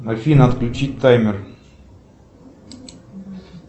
афина отключить таймер